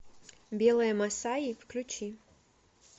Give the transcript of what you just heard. белая масаи включи